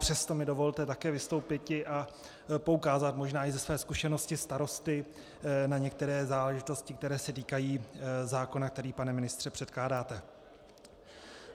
Přesto mi dovolte také vystoupiti a poukázat možná i ze své zkušenosti starosty na některé záležitosti, které se týkají zákona, který, pane ministře, předkládáte.